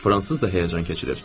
Fransız da həyəcan keçirir.